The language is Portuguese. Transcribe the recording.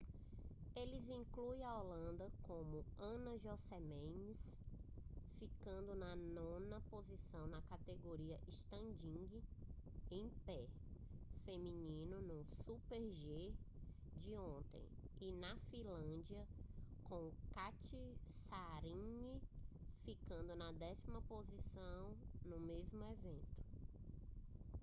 eles incluem a holanda com anna jochemsen ficando na nona posição na categoria standing em pé feminino no super-g de ontem e a finlândia com katja saarinen ficando na décima posição no mesmo evento